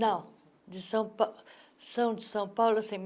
Não, de são pa são de São Paulo.